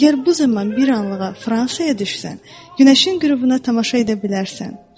Əgər bu zaman bir anlıqla Fransaya düşsən, günəşin qürubuna tamaşa edə bilərsən.